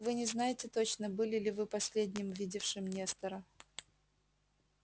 вы не знаете точно были ли вы последним видевшим нестора